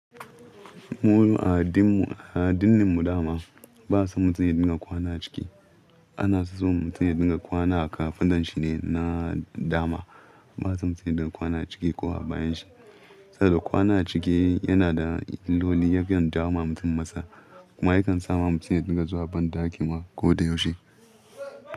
Mu a addinini mu, a addinin mu dama ba'a son mutum ya dinga kwana a ciki. Ana so mutum ya dinga kwana a kafadan shine na dama. Ba'a son mutum ya kwana a ciki ko a bayan shi. Saboda kwana a ciki yana da illoli yafiyan jawo ma mutum matsala. Kuma yakan sama mutum ya dinga zuwan banɗaki ma ko da yaushe.